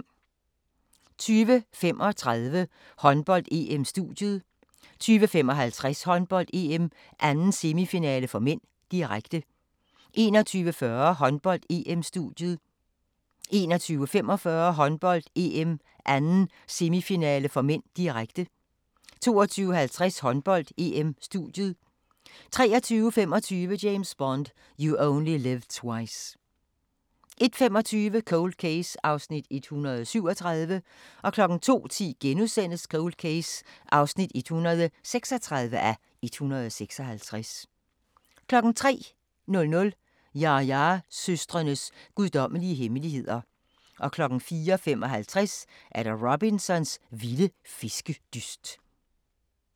20:35: Håndbold: EM - studiet 20:55: Håndbold: EM - 2. semifinale (m), direkte 21:40: Håndbold: EM - studiet 21:45: Håndbold: EM - 2. semifinale (m), direkte 22:50: Håndbold: EM - studiet 23:25: James Bond: You Only Live Twice 01:25: Cold Case (137:156) 02:10: Cold Case (136:156)* 03:00: Ya-ya-søstrenes guddommelige hemmeligheder 04:55: Robsons vilde fiskedyst